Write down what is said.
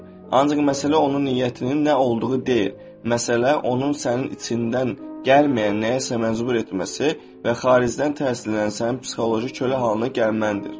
Ancaq məsələ onun niyyətinin nə olduğu deyil, məsələ onun sənin içindən gəlməyən nəyəsə məcbur etməsi və xaricdən təsirlənən sənin psixoloji kölə halına gəlməndir.